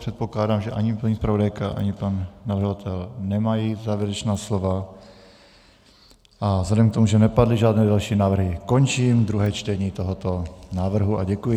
Předpokládám, že ani paní zpravodajka, ani pan navrhovatel nemají závěrečná slova, a vzhledem k tomu, že nepadly žádné další návrhy, končím druhé čtení tohoto návrhu a děkuji.